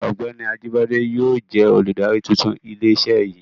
Ọ́gbẹ́ni Ajíbádé yóò jẹ olùdarí tuntun ilé iṣé yìí.